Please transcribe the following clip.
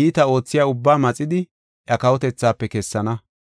iita oothiya ubbaa maxidi iya kawotethaafe kessana.